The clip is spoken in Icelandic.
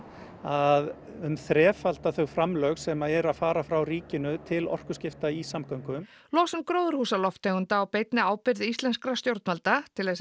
að um þrefalda þau framlög sem eru að fara frá ríkinu til orkuskipta í samgöngum losun gróðurhúsalofttegunda á beinni ábyrgð íslenskra stjórnvalda til